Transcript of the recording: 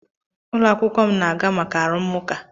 Ụlọ akwụkwọ m na-aga maka arụmụka.